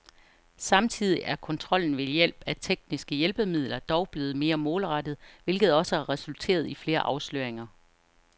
Samtidig er kontrollen ved hjælp af tekniske hjælpemidler dog blevet mere målrettet, hvilket også har resulteret i flere afsløringer.